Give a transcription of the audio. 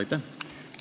Aitäh!